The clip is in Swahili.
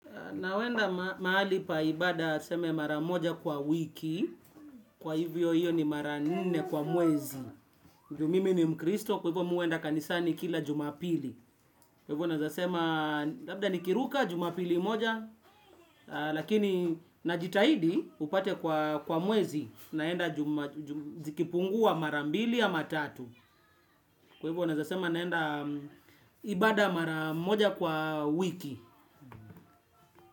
Nawenda mahali pa ibada seme mara moja kwa wiki, kwa hivyo hiyo ni mara nne kwa mwezi. Ju mimi ni mkristo, kwa hivo mi uenda kanisani kila jumapili. Kwa hivo naeza sema, labda nikiruka jumapili moja, lakini najitahidi upate kwa mwezi, naenda zikipungua mara mbili ama tatu. Kwa hivo naeza sema naenda ibada mara moja kwa wiki.